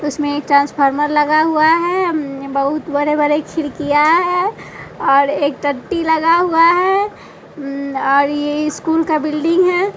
उसमें एक ट्रांसफार्मर लगा हुआ है अम बहुत बड़े-बड़े खिरकिया हैं और एक टट्टी लगा हुआ है अम्म और ये स्कूल का बिल्डिंग है।